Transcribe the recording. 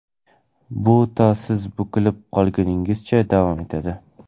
Bu to siz bukilib qolguningizcha davom etadi.